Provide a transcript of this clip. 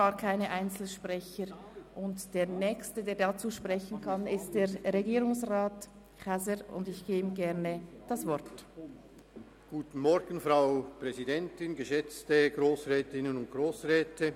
Der nächste Sprecher, der sich dazu äussern kann, ist Regierungsrat Käser, dem ich gerne das Wort erteile.